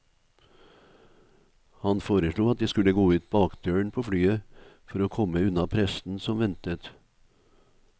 Han foreslo at jeg skulle gå ut bakdøren på flyet for å komme unna pressen som ventet.